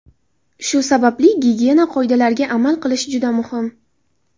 Shu sababli gigiyena qoidalariga amal qilish juda muhim.